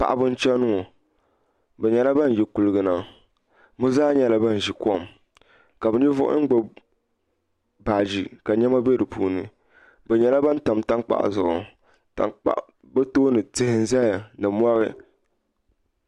Paɣaba n chɛni ŋo bi nyɛla ban yi kuligu na bi zaa nyɛla ban ʒi kom ka bi ninvuɣu yino gbubi baaji ka niɛma bɛ di puuni bi nyɛla ban tam tankpaɣu zuɣu bi tooni tihi n ʒɛya ni mori